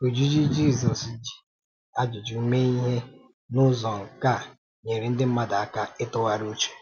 Ojiji Jízọs jị ajụjụ mee ihe n’ụzọ nkà nyere ndị mmadụ aka ịtụgharị uche.